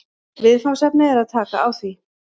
Viðfangsefnið er að taka á því